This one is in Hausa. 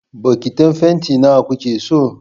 Bokitin fanti na wa kuke so?